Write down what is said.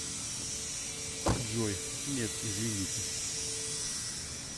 джой нет извините